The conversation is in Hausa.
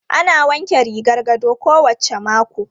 Ana wanke rigar gado kowacce mako.